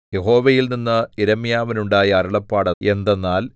യഹോവയിൽനിന്ന് യിരെമ്യാവിനുണ്ടായ അരുളപ്പാട് എന്തെന്നാൽ